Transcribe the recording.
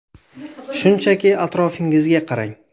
Shunchaki atrofingizga qarang.